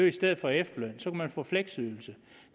i stedet for efterløn så kunne man få fleksydelse